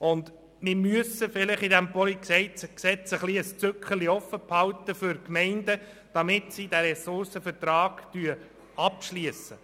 Vielleicht müssen wir in diesem PolG eine Art Zückerchen für Gemeinden offenhalten, damit sie diesen Ressourcenvertrag abschliessen.